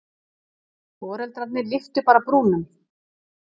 Foreldrarnir lyftu bara brúnum.